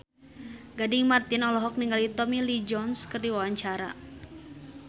Gading Marten olohok ningali Tommy Lee Jones keur diwawancara